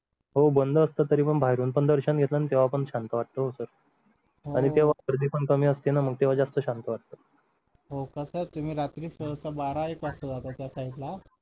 हो बंद असतं पण बाहेरून पण दर्शन घेतलं ना तर शांत वाटतं हो sir अरे तेव्हा गर्दी पण कमी असते ना मग तेव्हा जास्त शांत वाटतं हो का sir तुम्ही रात्री सहसा बारा एक वाजता जाता त्या side ला